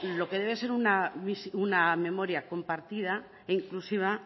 lo que debe ser una memoria compartida e inclusiva